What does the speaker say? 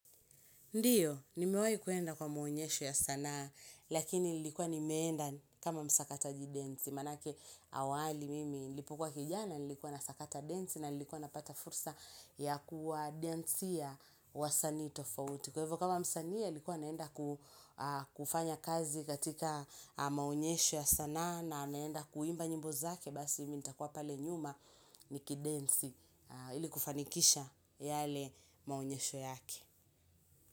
Ndiyo, nimewahi kuenda kwa maonyesho ya sanaa, lakini nilikuwa nimeenda kama msakataji densi. Manake awali mimi, nilipokuwa kijana, nilikuwa nasakata densi, na nilikuwa napata fursa ya kuwa densia wa sanii tofauti. Kwa hivyo, kama msanii, alikuwa anaenda kufanya kazi katika maonyesho ya sanaa, na anaenda kuimba nyimbo zake, basi mimi nitakuwa pale nyuma nikidensi ili kufanikisha yale maonyesho yake.